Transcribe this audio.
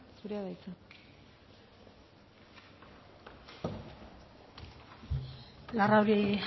zurea da hitza larrauri